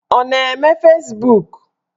Ọ na-eme Fezbuk?